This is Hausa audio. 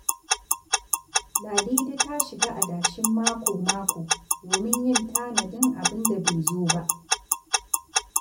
Ladidi ta shiga adashin mako-mako domin yin tanadin abin da bai zo ba.